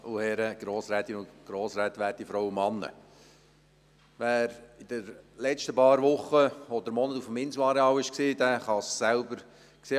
Wer sich in den letzten Wochen oder Monaten auf dem Inselareal aufgehalten hat, hat es selber gesehen: